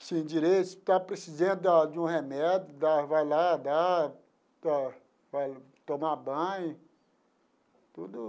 assim direito, se está precisando de um remédio, vai lá, dá, vai tomar banho, tudo.